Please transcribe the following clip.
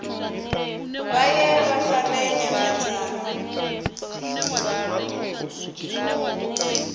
vha ye vha fare nyambedzano